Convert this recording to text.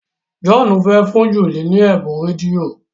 John fè fún Julie ní Ebun rédíò.